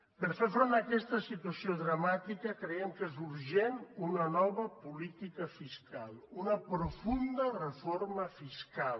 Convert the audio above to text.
per fer front a aquesta situació dramàtica creiem que és urgent una nova política fiscal una profunda reforma fiscal